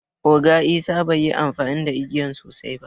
Oga isah bai yi amfani da igiyan sosai ba.